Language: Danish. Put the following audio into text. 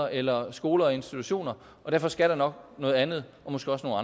eller skoler og institutioner og derfor skal der nok noget andet og måske også